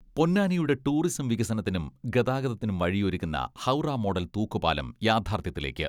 പൊന്നാനിയുടെ tourism വികസനത്തിനും ഗതാഗതത്തിനും വഴിയൊരുക്കുന്ന ഹൗറ മോഡൽ തൂക്കുപാലം യാഥാർഥ്യത്തിലേക്ക്.